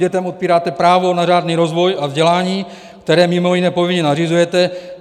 Dětem odpíráte právo na řádný rozvoj a vzdělání, které mimo jiné povinně nařizujete.